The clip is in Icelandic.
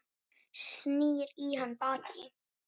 Snýr í hann baki.